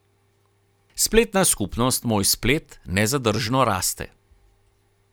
Spletna skupnost Moj splet nezadržno raste.